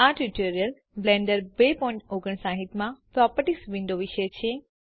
આ tutorial Blender 259 માં properties window વિશે છે